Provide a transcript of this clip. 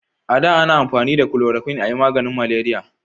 a da ana amfani da kuloroquin a yi maganin maleriya